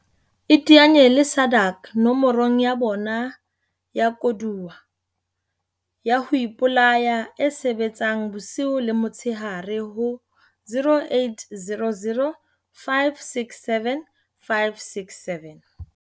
Iteanye le SADAG nomorong ya bona ya koduwa ya ho ipolaya e sebetsang bosiu le motshehare ho 0800 567 567.